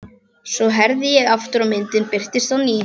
Svo herði ég aftur og myndin birtist á ný.